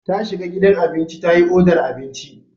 Ta shiga gidan abinci ta yi odar abinci.